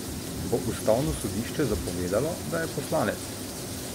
Bo ustavno sodišče zapovedalo, da je poslanec?